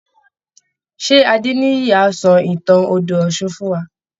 Ṣé Adéníyì á sọ ìtàn odò ọ̀ṣun fún wa?